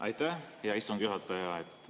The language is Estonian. Aitäh, hea istungi juhataja!